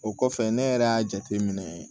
O kɔfɛ ne yɛrɛ y'a jateminɛ